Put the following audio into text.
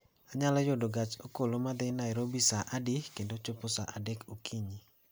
Anyalo yudo gach okolo ma dhi nairobi saa adi kendo chopo saa adek okinyi